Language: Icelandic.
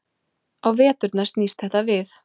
Á veturna snýst þetta við.